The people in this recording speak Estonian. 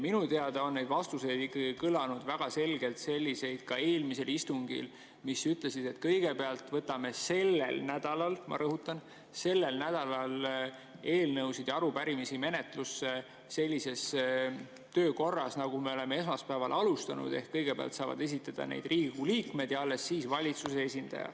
Minu teada on neid vastuseid kõlanud väga selgelt selliseid, ka eelmisel istungil, et kõigepealt võtame sellel nädalal – ma rõhutan, sellel nädalal – eelnõusid ja arupärimisi menetlusse sellises töökorras, nagu me oleme esmaspäeval alustanud, ehk kõigepealt saavad esitada neid Riigikogu liikmed ja alles siis valitsuse esindaja.